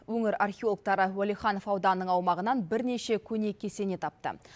өңір археологтары уәлиханов ауданының аумағынан бірнеше көне кесене тапты